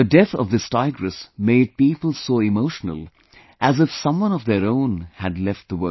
The death of this tigress made people so emotional as if someone of their own had left the world